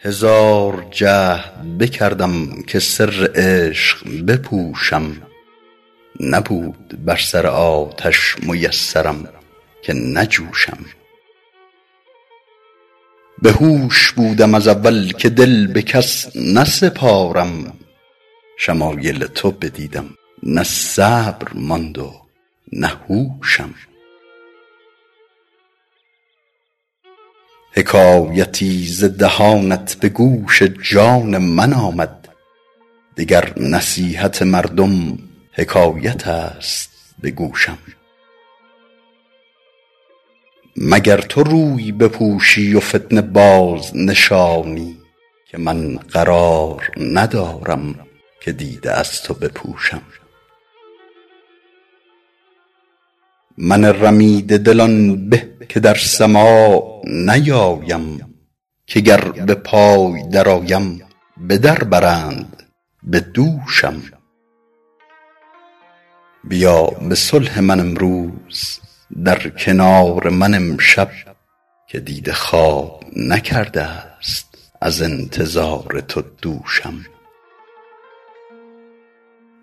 هزار جهد بکردم که سر عشق بپوشم نبود بر سر آتش میسرم که نجوشم بهوش بودم از اول که دل به کس نسپارم شمایل تو بدیدم نه صبر ماند و نه هوشم حکایتی ز دهانت به گوش جان من آمد دگر نصیحت مردم حکایت است به گوشم مگر تو روی بپوشی و فتنه بازنشانی که من قرار ندارم که دیده از تو بپوشم من رمیده دل آن به که در سماع نیایم که گر به پای درآیم به در برند به دوشم بیا به صلح من امروز در کنار من امشب که دیده خواب نکرده ست از انتظار تو دوشم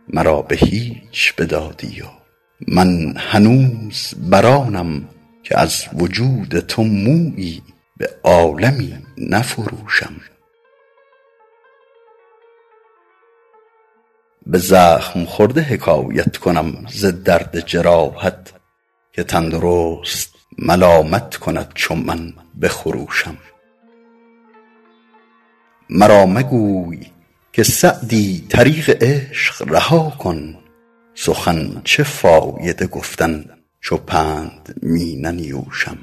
مرا به هیچ بدادی و من هنوز بر آنم که از وجود تو مویی به عالمی نفروشم به زخم خورده حکایت کنم ز دست جراحت که تندرست ملامت کند چو من بخروشم مرا مگوی که سعدی طریق عشق رها کن سخن چه فایده گفتن چو پند می ننیوشم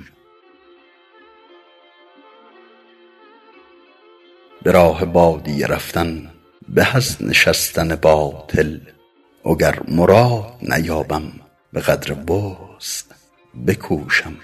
به راه بادیه رفتن به از نشستن باطل وگر مراد نیابم به قدر وسع بکوشم